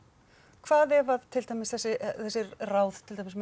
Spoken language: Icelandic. hvað ef að til dæmis þessi ráð til dæmis með